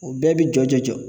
U bɛɛ bi jɔjɔ jɔ.